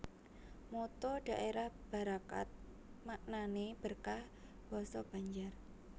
Motto dhaérah Barakat maknané berkah basa Banjar